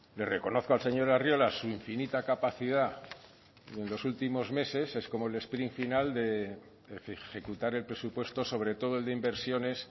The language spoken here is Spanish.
le reconozco al señor arriola su infinita capacidad en los últimos meses es como el sprint final de ejecutar el presupuesto sobre todo el de inversiones